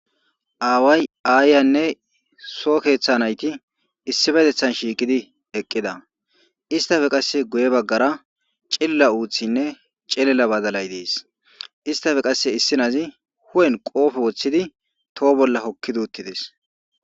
Away ayanne soo keththa nayithi issippeththettan shiqqidi eqqida issittappe qaasse guuye bagara cillilia uththinne cillilia baadalay dees isstappe qaasse issi nazi uphen qophphe wothidi toho bolla hokkidi uttidess.